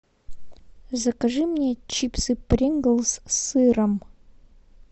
закажи мне чипсы принглс с сыром